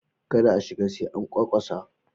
Kada a shiga sai an ƙwaƙwasa.